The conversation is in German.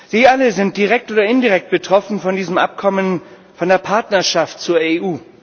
Sie alle sind direkt oder indirekt betroffen von diesem Abkommen, von der Partnerschaft mit der EU.